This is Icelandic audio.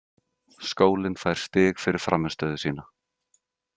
Skólinn fær stig fyrir frammistöðu sína.